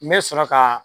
N bɛ sɔrɔ ka